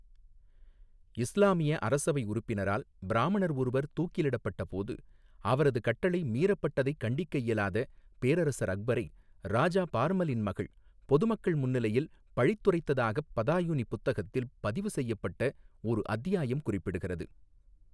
இஸ்லாமிய அரசவை உறுப்பினரால் பிராமணர் ஒருவர் தூக்கிலிடப்பட்டபோது, அவரது கட்டளை மீறப்பட்டதைக் கண்டிக்க இயலாத பேரரசர் அக்பரை ராஜா பார்மலின் மகள் பொதுமக்கள் முன்னிலையில் பழித்துரைத்ததாகப் பதாயுனி புத்தகத்தில் பதிவு செய்யப்பட்ட ஒரு அத்தியாயம் குறிப்பிடுகிறது.